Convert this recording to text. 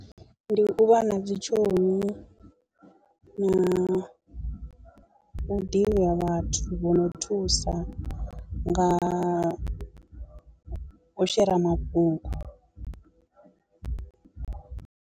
Ndi u vha na dzi tshomi na u ḓivhi ha vhathu vho no thusa nga u shera mafhungo.